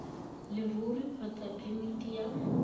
ya leruri kgotsa phemiti ya